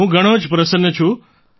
હું ઘણો જ પ્રસન્ન છું